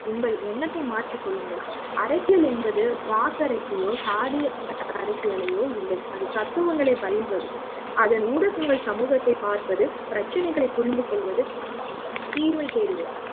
உங்கள் எண்ணத்தை மாற்றிக் கொள்ளுங்கள்அரசியல் என்பது வாக்கரசையோ சாதி அரசிய லையோ இல்லை அது தத்துவங்களை பகிர்வது அதனை ஊடகங்கள் சமூகத்தை பார்ப்பது பிரச்னைகளை புரிந்துகொள்வது தீர்வை தேடுவது